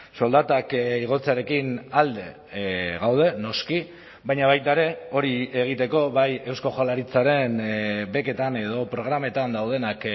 soldatak igotzearekin alde gaude noski baina baita ere hori egiteko bai eusko jaurlaritzaren beketan edo programetan daudenak